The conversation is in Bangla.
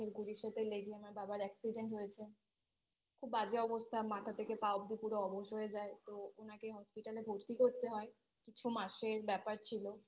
গাড়ির সাথে লেগে আমার বাবার accident হয়েছে খুব বাজে অবস্থা মাথা থেকে পা অবধি পুরো অবশ হয়ে যায় তো ওনাকে Hospital এ ভর্তি করতে হয় কিছু মাসের ব্যাপার ছিল